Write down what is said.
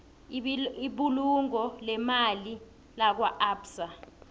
ibulungo leemali lakwaabsa